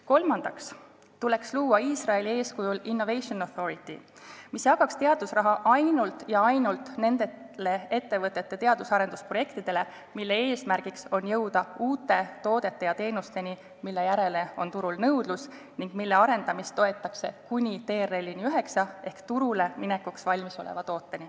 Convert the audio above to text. Kolmandaks tuleks luua Iisraeli eeskujul Innovation Authority, mis jagaks teadusraha ainult ja ainult nende ettevõtete teadus- ja arendusprojektidele, mille eesmärk on jõuda uute toodete ja teenusteni, mille järele on turul nõudlus, ning mille arendamist toetatakse kuni TRL-tasemeni 9 ehk kuni on olemas turule minekuks valmis olev toode.